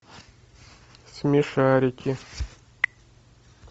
смешарики